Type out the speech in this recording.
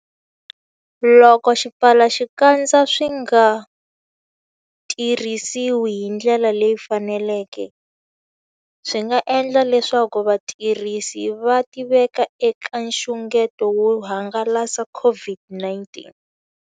Loko swipfalaxikandza swi nga tirhisiwi hi ndlela leyi faneleke, swi nga endla leswaku vatirhisi va tiveka eka nxungeto wo hangalasa COVID-19.